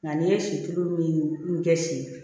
Nka n'i ye si tulu min kɛ si